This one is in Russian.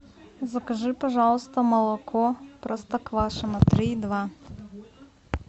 закажи пожалуйста молоко простоквашино три и два